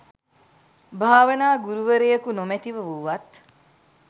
භාවනා ගුරුවරයකු නොමැතිව වුවත්,